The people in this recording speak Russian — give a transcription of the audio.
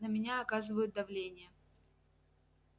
на меня оказывают давление